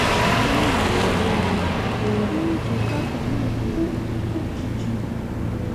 ó mà ṣe ó burújí kásámù kú lójijì